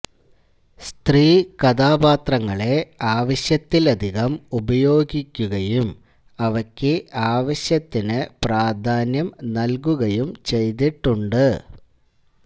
സ്ത്രീകഥാപാത്രങ്ങളെ ആവശ്യത്തിലധികം ഉപയോഗിക്കുകയും അവയ്ക്ക് ആവശ്യത്തിനു പ്രാധാന്യം നല്കുകയും ചെയ്തിട്ടുണ്ട്